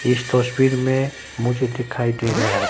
इस तस्वीर में मुझे दिखाई दे रहा है।